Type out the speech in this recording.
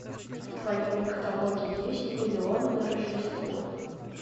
в твоем каталоге есть миллион на рождество